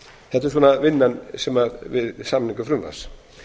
í nefndirnar þetta er svona vinnan við samningu frumvarps